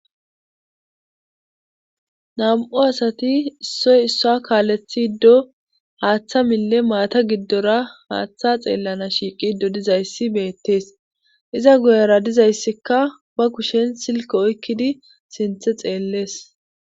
nam7u asati issoy issa kaalethi ddo haaththa mille maata giddora haaththa xeellana shiiqido dizayssi beettees iza guyera dizayssikka ba kushen silke oykkidi sinthe xeellees